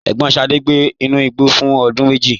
Ẹ̀gbọ́n Sade gbé inú igbó fún ọdún méjì.